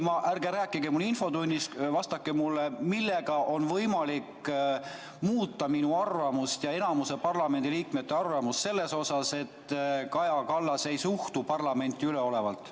Ärge rääkige mulle infotunnist, vaid vastake, millega on võimalik muuta minu ja enamiku parlamendiliikmete arvamust et Kaja Kallas ei suhtu parlamenti üleolevalt.